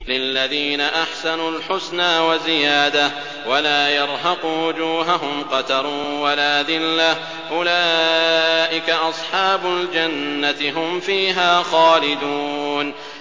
۞ لِّلَّذِينَ أَحْسَنُوا الْحُسْنَىٰ وَزِيَادَةٌ ۖ وَلَا يَرْهَقُ وُجُوهَهُمْ قَتَرٌ وَلَا ذِلَّةٌ ۚ أُولَٰئِكَ أَصْحَابُ الْجَنَّةِ ۖ هُمْ فِيهَا خَالِدُونَ